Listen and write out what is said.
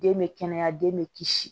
Den bɛ kɛnɛya den bɛ kisi